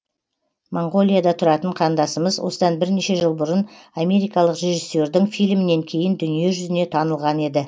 моңғолияда тұратын қандасымыз осыдан бірнеше жыл бұрын америкалық режиссердің фильмінен кейін дүние жүзіне танылған еді